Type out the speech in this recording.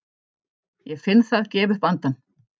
Ég finn það gefa upp andann.